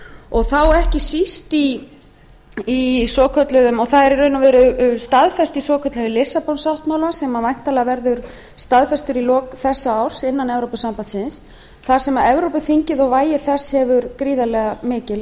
og þá ekki síst í svokölluðum og það er í raun og veru staðfest í svokölluðum lissabon sáttmála sem væntanlega verður staðfestur í lok þessa árs innan evrópusambandsins þar sem evrópuþingið og vægi þess hefur gríðarleg mikil